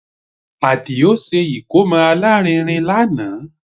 Àdìó ṣe ìkómọ alárinrin lánàá